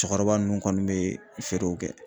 Cɛkɔrɔba ninnu kɔni bɛ feerew kɛ.